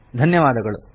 ಧನ್ಯವಾದಗಳು